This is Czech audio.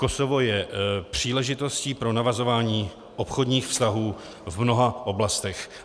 Kosovo je příležitostí pro navazování obchodních vztahů v mnoha oblastech.